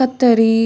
ಕತ್ತರಿ--